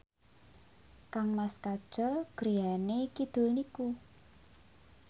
kangmas Kajol griyane kidul niku